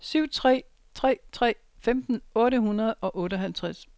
syv tre tre tre femten otte hundrede og otteoghalvtreds